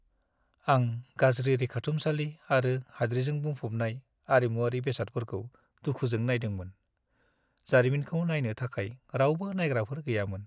आं गाज्रि रैखाथुमसालि आरो हाद्रिजों बुंफबनाय आरिमुआरि बेसादफोरखौ दुखुजों नायदोंमोन। जारिमिनखौ नायनो थाखाय रावबो नायग्राफोर गैयामोन।